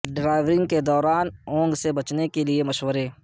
driving کے دوران اونگھ سے بچنے کے لیے مشورے